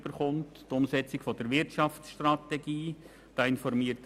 Die Umsetzung der Wirtschaftsstrategie ist ein weiteres Beispiel.